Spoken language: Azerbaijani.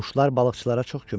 Quşlar balıqçılara çox kömək eləyir.